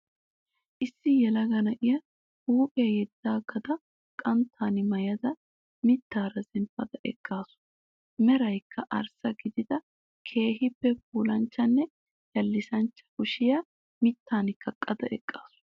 Issi yelaga na'iyaa huuphiyaa yeddaagada qanttan maayada mittaara zemppada eqqaasu. Merankka arssa gidada keehiippe puulanchchanne yallisancha kushiyaa mittan kaqqada eqqaasu.